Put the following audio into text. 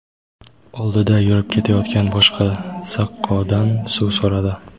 oldida yurib ketayotgan boshqa saqqodan suv so‘radi.